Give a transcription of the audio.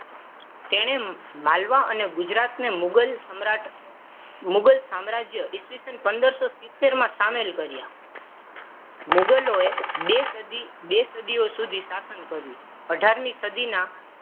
તેને માલવા અને ગુજરાતને મુગલ સમ્રાટ માં મુગલ સામ્રાજ્ય ઈસવીસન પંદરસો સીતેર માં સમિલ કર્યા. મુગલોએ બે સદી બે સદીઓ સુધી શાસન કર્યું. અઢારમી સદીના